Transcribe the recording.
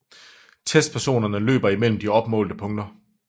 Testpersonerne løber mellem de opmålte punkter